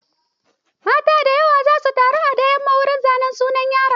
Mata za su taru da yamma wurin zanen sunan yaron.